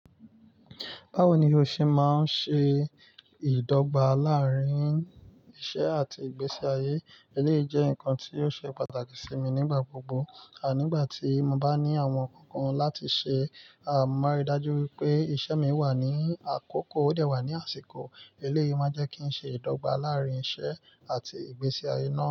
Báwo ni o ṣe máa ń ṣe ìdọ́gba láàárín iṣẹ́ àti ìgbésí ayé? Eléyìí jẹ́ nǹkan tí ó ṣe pàtàkì sí mi nígbà gbogbo. Nígbà tí mo bá ní àwọn nǹkan kan láti ṣe, mọ́ máa rí i dájú wípé iṣẹ́ mi wà ní àkókò ó dẹ̀ wà ní àsìkò. Eléyìí máa ń jẹ́ kí ń ṣe ìdọ́gba láàárín iṣẹ́ àti ìgbésí ayé náà.